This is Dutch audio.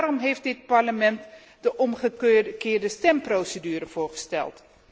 Daarom heeft dit Parlement de omgekeerde stemprocedure voorgesteld.